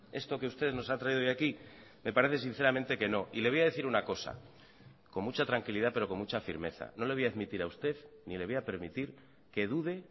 esto que ustedes nos ha traído hoy aquí me parece sinceramente que no y le voy a decir una cosa con mucha tranquilidad pero con mucha firmeza no le voy a admitir a usted ni le voy a permitir que dude